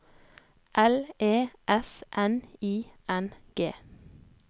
L E S N I N G